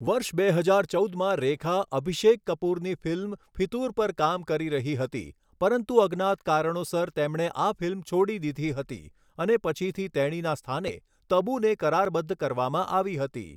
વર્ષ બે હજાર ચૌદમાં રેખા અભિષેક કપૂરની ફિલ્મ 'ફિતૂર' પર કામ કરી રહી હતી, પરંતુ અજ્ઞાત કારણોસર તેમણે આ ફિલ્મ છોડી દીધી હતી અને પછીથી તેણીના સ્થાને તબુને કરારબદ્ધ કરવામાં આવી હતી.